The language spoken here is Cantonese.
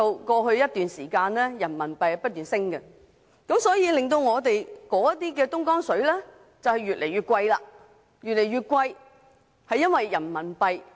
過去一段時間，人民幣不斷升值，以致我們購買的東江水越來越貴。